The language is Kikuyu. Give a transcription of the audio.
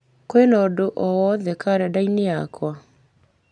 kwĩna ũndũ o wothe karenda-inĩ yakwa